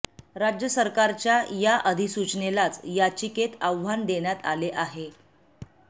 राज्य सरकारच्या या अधिसूचनेलाच याचिकेत आव्हान देण्यात आले आहे